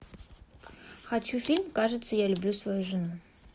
хочу фильм кажется я люблю свою жену